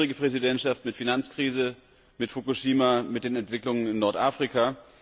Es war eine schwierige Präsidentschaft mit Finanzkrise, mit Fukushima, mit den Entwicklungen in Nordafrika.